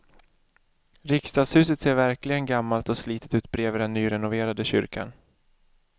Riksdagshuset ser verkligen gammalt och slitet ut bredvid den nyrenoverade kyrkan.